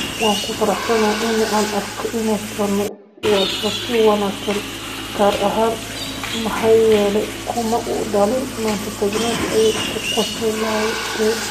"Waan ku faraxsanahay in aan arko inuu sii wato si wanaagsan, gaar ahaan maxaa yeelay kuma uu dhalin Manchester United", ayuu ku qosliyey.